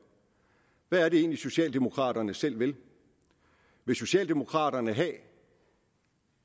jeg er det egentlig socialdemokraterne selv vil vil socialdemokraterne